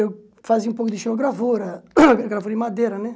Eu fazia um pouco de xilogravura, gravura em madeira, né?